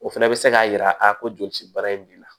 O fana bɛ se k'a jira a ko joli ci baara in b'i la